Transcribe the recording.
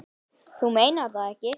Þú meinar það ekki.